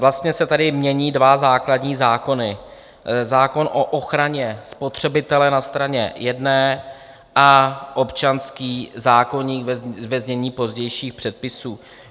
Vlastně se tady mění dva základní zákony, zákon o ochraně spotřebitele na straně jedné a občanský zákoník, ve znění pozdějších předpisů.